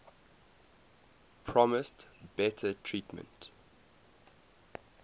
promised better treatment